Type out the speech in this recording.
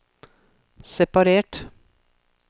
separert